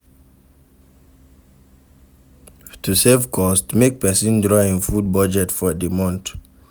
To save cost make persin draw im food budget for di month